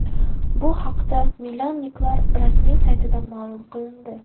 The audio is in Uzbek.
Bu haqda milanliklar rasmiy saytida ma’lum qilindi .